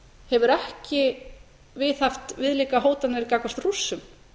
hefur ekki viðhaft viðlíka hótanir gagnvart rússum